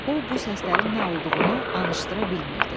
O bu səslərin nə olduğunu anıştıra bilmirdi.